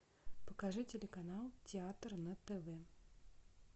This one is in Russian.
покажи телеканал театр на тв